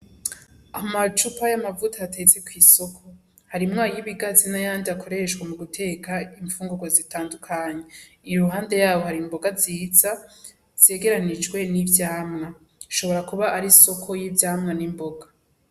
Amacupa y'amavuta atetse kw'isoko. Harimwo ay'ibigazi n'ayandi akoreshwa mu guteka imfungurwa zitandukanye. Iruhande yaho hari imboga nziza zegeranirijwe n'ivyamwa. Ishobora kuba ari isoko y'ivyamwa n'imboga.